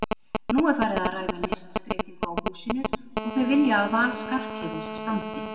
Nú er farið að ræða listskreytingu á húsinu og þau vilja að val Skarphéðins standi.